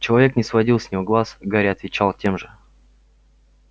человек не сводил с него глаз гарри отвечал тем же